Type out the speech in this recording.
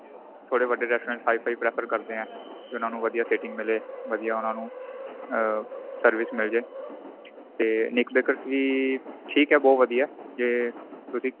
ਥੋੜੇ ਵੱਡੇ restaurant HI FI prefer ਕਰਦੇ ਏ ਉਹਨਾ ਵਧੀਆ sitting ਮਿਲੇ ਵਧੀਆ ਉਹਨਾ ਨੂੰ ਆ service ਮਿਲ ਜੇ ਤੇ nick bakers ਵੀ ਠੀਕ ਏ ਬਹੁਤ ਵਧੀਆ ਤੇ ਤੁਸੀਂ